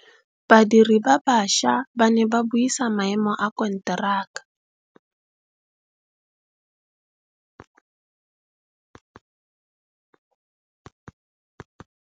Badiri ba baša ba ne ba buisa maêmô a konteraka.